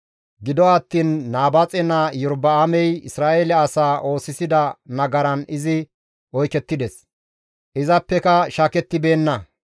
Gido attiin Nabaaxe naa Iyorba7aamey Isra7eele asaa oosisida nagaran izi oykettides; izappeka shaakettibeenna.